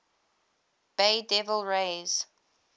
bay devil rays